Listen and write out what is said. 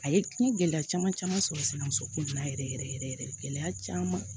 A ye n ye gɛlɛya caman caman sɔrɔ muso kun yɛrɛ yɛrɛ yɛrɛ yɛrɛ gɛlɛya caman